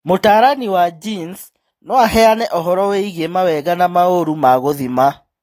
Mũtaarani wa genes no aheane ũhoro wĩgiĩ mawega na maũru ma gũthima.